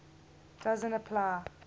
doesn t apply